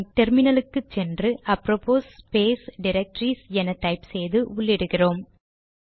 நாம் டெர்மினலுக்கு போய் அப்ரோபோஸ் ஸ்பேஸ் டிரக்டரிஸ் என டைப் செய்து உள்ளிடுகிறோம்